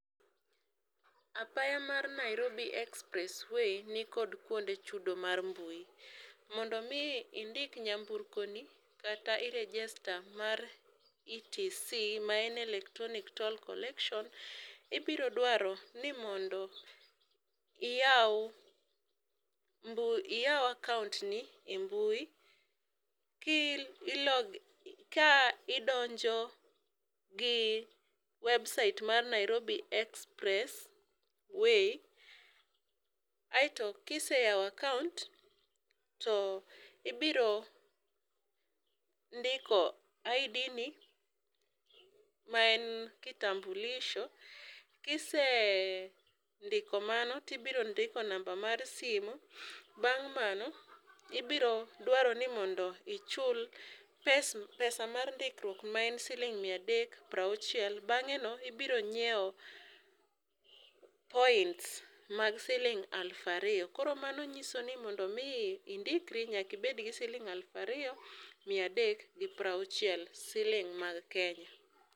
Apaya mar Nairobi express way nikod kuonde chudo mar mbui. Mondo mi indik nyamburko ni kata i register mar ETC ma en electronic toll collection ibro dwaro ni mondo iyaw mbu iyaw akaunt ni e mbui ki ilo ka idonjo gi website mar nairobi express way. Aeto kiseyawo akaunt to ibiro ndiko ID ni ma en kitambulisho . Kisendiko mano tibiro ndiko namba mar simo, bang' mano ibiro dwaro ni mondo ichul pes pesa mar ndikruok ma en siling mia adek prauchiel. Bang'e no ibiro nyiewo point mag siling alufa riyo . Koro mano nysio ni mondo mi indikri nyaki bed gi silingi alufu ariyo mia adek gi prauchiel siling mag kenya.